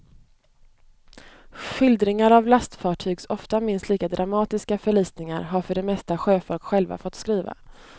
Skildringar av lastfartygs ofta minst lika dramatiska förlisningar har för det mesta sjöfolk själva fått skriva.